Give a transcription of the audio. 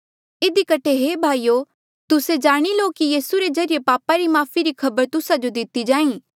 इधी कठे हे भाईयो तुस्से जाणी लो कि यीसू रे ज्रीए पापा री माफ़ी री खबर तुस्सा जो दिति जाहीं